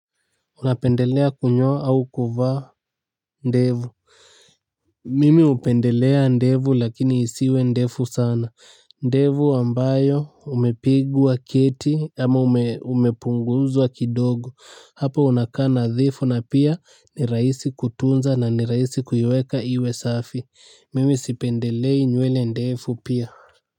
Unapendelea kunyoa au kuvaa ndevu mimi hupendelea ndevu lakini isiwe ndefu sana ndevu ambayo umepigwa keti ama umepunguzwa kidogo hapo unakaa nadhifu na pia ni rahisi kutunza na ni rahisi kuiweka iwe safi mimi sipendelei nywele ndefu pia.